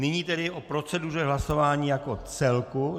Nyní tedy o proceduře hlasování jako celku.